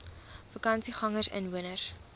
vakansiegangersinwoners